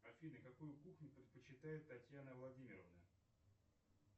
афина какую кухню предпочитает татьяна владимировна